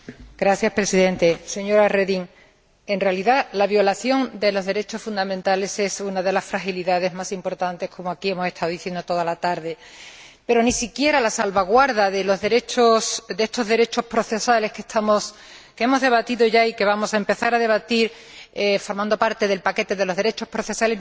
Señor Presidente, señora Reding, en realidad la violación de los derechos fundamentales es una de las fragilidades más importantes, como aquí hemos estado diciendo toda la tarde. Pero ni siquiera la salvaguardia de estos derechos procesales, que hemos debatido ya y que vamos a empezar a debatir como parte del paquete de los derechos procesales,